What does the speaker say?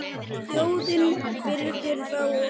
Þjóðin virðir þá og metur.